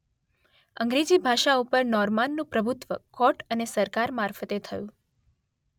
અંગ્રેજી ભાષા ઉપર નોર્માનનું પ્રભુત્વ કોર્ટ અને સરકાર મારફતે થયું.